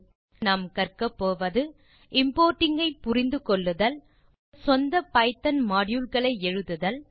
இந்த டுடோரியலில் நாம் கற்க போவது இம்போர்ட்டிங் ஐ புரிந்து கொள்ளுதல் உங்கள் சொந்த பைத்தோன் மாடியூல் களை எழுதுதல்